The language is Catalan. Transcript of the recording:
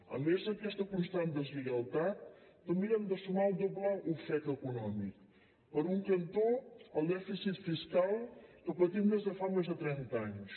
a més d’aquesta constant deslleialtat també hem de sumar el doble ofec econòmic per un cantó el dèficit fiscal que patim des de fa més de trenta anys